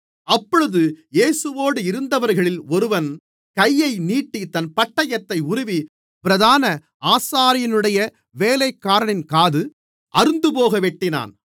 அப்பொழுது இயேசுவோடிருந்தவர்களில் ஒருவன் கையை நீட்டித் தன் பட்டயத்தை உருவி பிரதான ஆசாரியனுடைய வேலைக்காரனின் காது அறுந்துபோக வெட்டினான்